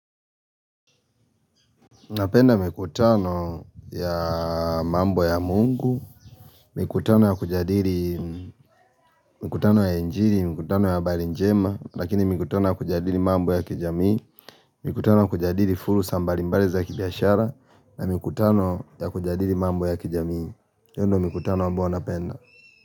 Napenda mikutano ya mambo ya mungu, mikutano ya kujadili mikutano ya injili, mikutano ya habari njema, lakini mikutano ya kujadili mambo ya kijamii, mikutano ya kujadili fursa mbalimbali za kibiashara, na mikutano ya kujadili mambo ya kijamii, hiyo ndio mikutano ambayo napenda.